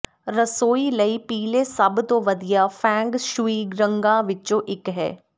ਰਸੋਈ ਲਈ ਪੀਲੇ ਸਭ ਤੋਂ ਵਧੀਆ ਫੈਂਗ ਸ਼ੂਈ ਰੰਗਾਂ ਵਿਚੋਂ ਇਕ ਹੈ